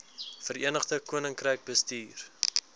verenigde koninkryk bestuur